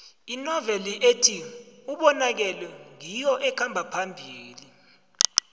inoveli ethi ubonakele ngiyo ekhamba phambili